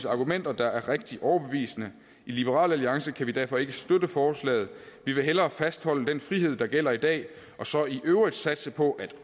argumenter der er rigtig overbevisende i liberal alliance kan vi derfor ikke støtte forslaget vi vil hellere fastholde den frihed der gælder i dag og så i øvrigt satse på at